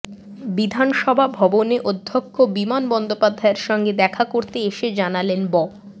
বিধানসভা ভবনে অধ্যক্ষ বিমান বন্দ্যোপাধ্যায়ের সঙ্গে দেখা করতে এসে জানালেন ব